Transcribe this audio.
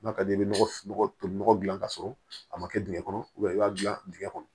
N'a ka d'i ye i bɛ nɔgɔ toli nɔgɔ dilan k'a sɔrɔ a ma kɛ dingɛ kɔnɔ i b'a dilan dingɛ kɔnɔ